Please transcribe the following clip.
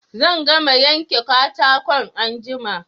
Zan gama yanke katakon anjima